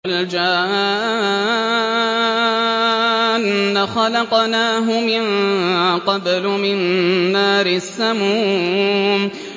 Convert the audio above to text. وَالْجَانَّ خَلَقْنَاهُ مِن قَبْلُ مِن نَّارِ السَّمُومِ